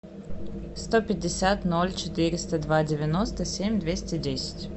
сто пятьдесят ноль четыреста два девяносто семь двести десять